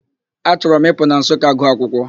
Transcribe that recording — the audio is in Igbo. Achọrọ m Ịpụ na Nsụka gụọ akwụkwọ.